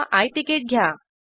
किंवा आय तिकीट घ्या